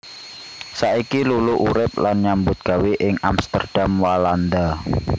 Saiki Luluk urip lan nyambut gawé ing Amsterdam Walanda